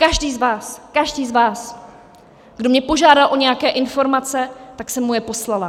Každý z vás, každý z vás, kdo mě požádal o nějaké informace, tak jsem mu je poslala.